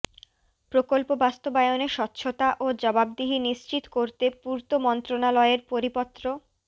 প্রকল্প বাস্তবায়নে স্বচ্ছতা ও জবাবদিহি নিশ্চিত করতে পূর্ত মন্ত্রণালয়ের পরিপত্র